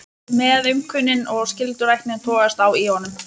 Meðaumkunin og skylduræknin togast á í honum.